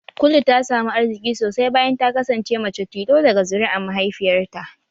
Kulu ta samu arziki sosai bayan ta kasance mace tilo daga zuri'an mahaifiyarta